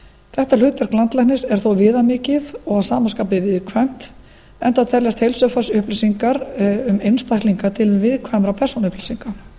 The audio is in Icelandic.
þetta hlutverk landlæknis er þó viðamikið og að sama skapi viðkvæmt enda teljast heilsufarsupplýsingar um einstaklinga til viðkvæmra persónuupplýsinga